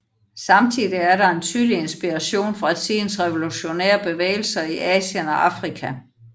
Samtidig er der en tydelig inspiration fra tidens revolutionære bevægelser i Asien og Afrika